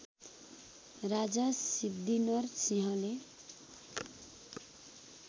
राजा सिद्धिनरसिंहले